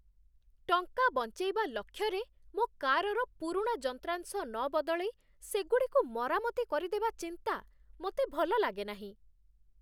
ଟଙ୍କା ବଞ୍ଚେଇବା ଲକ୍ଷ୍ୟରେ, ମୋ କାରର ପୁରୁଣା ଯନ୍ତ୍ରାଂଶ ନ ବଦଳେଇ ସେଗୁଡ଼ିକୁ ମରାମତି କରିଦେବା ଚିନ୍ତା ମୋତେ ଭଲ ଲାଗେନାହିଁ।